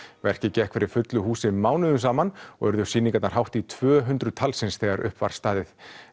verkið gekk fyrir fullu húsi mánuðum saman og urðu sýningarnar hátt í tvö hundruð talsins þegar uppi var staðið